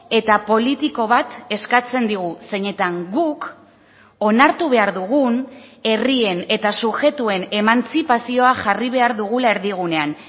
eta politiko bat eskatzen digu zeinetan guk onartu behar dugun herrien eta subjektuen emantzipazioa jarri behar dugula erdigunean